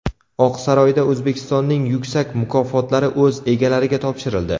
Oqsaroyda O‘zbekistonning yuksak mukofotlari o‘z egalariga topshirildi .